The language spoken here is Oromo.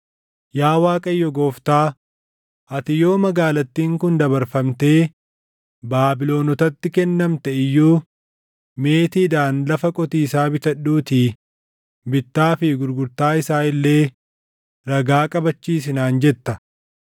Yaa Waaqayyo Gooftaa, ati yoo magaalattiin kun dabarfamtee Baabilonotatti kennamte iyyuu ‘Meetiidhaan lafa qotiisaa bitadhuutii bittaa fi gurgurtaa isaa illee ragaa qabaachisi’ naan jetta.”